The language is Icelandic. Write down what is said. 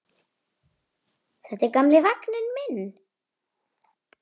Þetta er gamli vagninn minn.